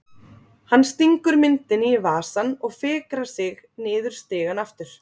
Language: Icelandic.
Hann stingur myndinni í vasann og fikrar sig niður stigann aftur.